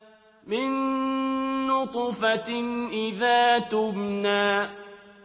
مِن نُّطْفَةٍ إِذَا تُمْنَىٰ